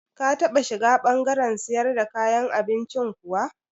Ka taɓa shiga ɓangaren siyar da kayan abincin kuwa?